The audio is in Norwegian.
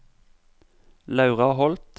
Laura Holth